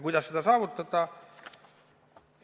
Kuidas seda saavutada?